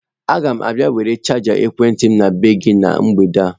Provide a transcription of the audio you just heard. Agam abia were chaja ekwenti m n'ebe gi na mgbede a.